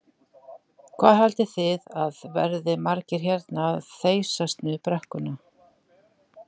Hvað haldið þið að verði margir hérna að þeysast niður brekkuna?